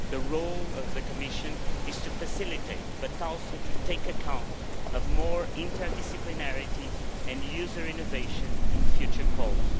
The role of the Commission is to facilitate, but also to take account of more interdisciplinarity and user innovation in future calls.